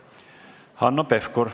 Hanno Pevkur.